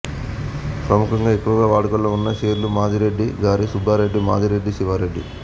ప్రముఖంగా ఎక్కువగా వాడుకలో వున్న పేర్లు మాధిరెడ్దిగారి సుబ్బారెడ్డి మాధిరెడ్ది శివారెడ్డి